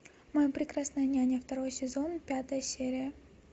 моя прекрасная няня второй сезон пятая серия